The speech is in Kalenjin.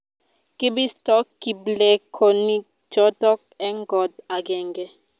kibisto kiplekonichoto eng koot agenge